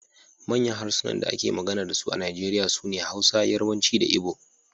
Manyan harsunan da ake magana da su a Najeriya sune Hausa, Yarbanci da Igbo